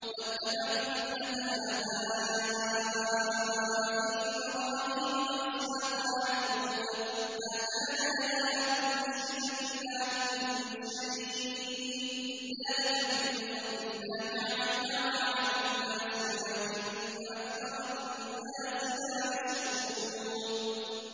وَاتَّبَعْتُ مِلَّةَ آبَائِي إِبْرَاهِيمَ وَإِسْحَاقَ وَيَعْقُوبَ ۚ مَا كَانَ لَنَا أَن نُّشْرِكَ بِاللَّهِ مِن شَيْءٍ ۚ ذَٰلِكَ مِن فَضْلِ اللَّهِ عَلَيْنَا وَعَلَى النَّاسِ وَلَٰكِنَّ أَكْثَرَ النَّاسِ لَا يَشْكُرُونَ